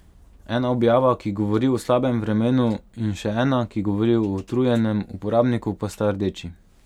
Ena objava, ki govori o slabem vremenu in še ena, ki govori o utrujenem uporabniku, pa sta rdeči.